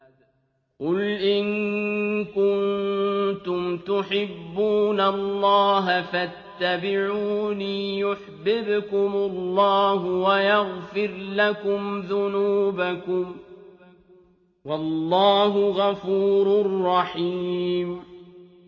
قُلْ إِن كُنتُمْ تُحِبُّونَ اللَّهَ فَاتَّبِعُونِي يُحْبِبْكُمُ اللَّهُ وَيَغْفِرْ لَكُمْ ذُنُوبَكُمْ ۗ وَاللَّهُ غَفُورٌ رَّحِيمٌ